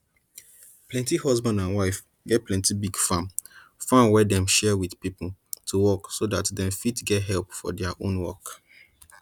plenti husband and wife get plenti big farm farm wey dem share with pipo to work so dat dem fit get help for dia own work